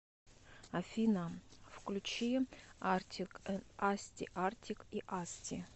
афина включи артик энд асти артик и асти